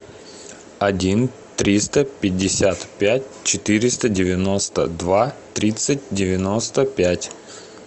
один триста пятьдесят пять четыреста девяносто два тридцать девяносто пять